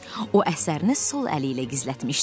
O əsərini sol əli ilə gizlətmişdi.